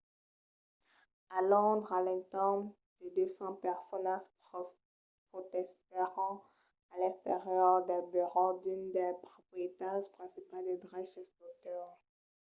a londres a l’entorn de 200 personas protestèron a l’exterior dels burèus d'unes dels proprietaris principals de dreches d'autors